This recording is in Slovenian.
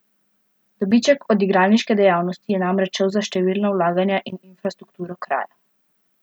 Dobiček od igralniške dejavnosti je namreč šel za številna vlaganja v infrastrukturo kraja.